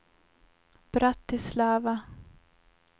Bratislava